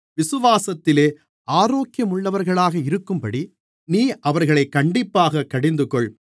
விசுவாசத்திலே ஆரோக்கியமுள்ளவர்களாக இருக்கும்படி நீ அவர்களைக் கண்டிப்பாய்க் கடிந்துகொள்